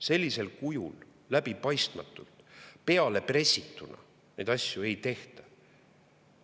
Sellisel kujul, läbipaistmatult, peale pressituna neid asju ei tehta.